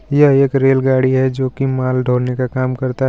यह एक रेलगाड़ी है जो की माल ढोने का काम करता है.